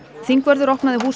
þingvörður opnaði húsið